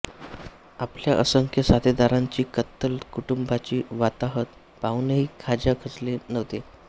आपल्या असंख्य साथीदारांची कत्तल कुटुंबाची वाताहत पाहूनही खाज्या खचले नव्हते